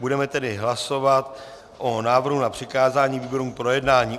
Budeme tedy hlasovat o návrhu na přikázání výborům k projednání.